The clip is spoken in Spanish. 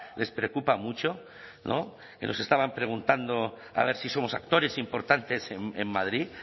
les preocupa mucho no que nos estaban preguntando a ver si somos actores importantes en madrid